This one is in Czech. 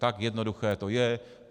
Tak jednoduché to je.